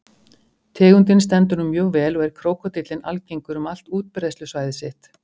Tegundin stendur nú mjög vel og er krókódíllinn algengur um allt útbreiðslusvæði sitt.